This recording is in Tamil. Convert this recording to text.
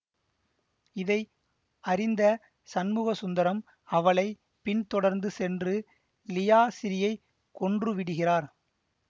இதை அறிந்த சண்முகசுந்தரம் அவளை பின்தொடர்ந்து சென்று லியாசிறீயை கொன்று விடுகிறார்